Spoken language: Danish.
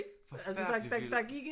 Forfærdelig film